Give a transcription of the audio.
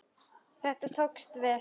Þetta tókst vel.